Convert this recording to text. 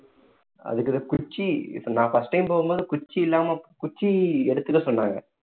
அதுக்கு தான் குச்சி நான் first time போகும் போது குச்சி இல்லாம குச்சி எடுத்துக்க சொன்னாங்க